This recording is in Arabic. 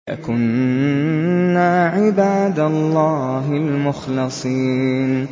لَكُنَّا عِبَادَ اللَّهِ الْمُخْلَصِينَ